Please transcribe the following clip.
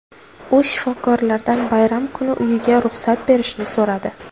U shifokorlardan bayram kuni uyiga ruxsat berishni so‘radi.